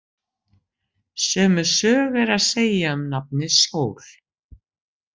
Sömu sögu er að segja um nafnið Sól.